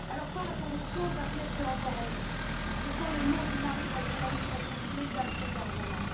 Sans la corruption, Daphne serait encore en vie ce sont les mots du mari de la journaliste assassinée, Daphne Caruana.